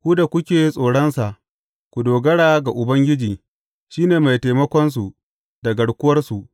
Ku da kuke tsoronsa, ku dogara ga Ubangiji, shi ne mai taimakonsu da garkuwarsu.